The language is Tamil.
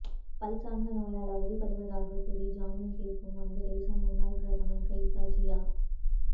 பல் சார்ந்த நோயால் அவதிப்படுவதாக கூறி ஜாமீன் கேட்கும் வங்கதேசமுன்னாள் பிரதமர் கலிதா ஜியா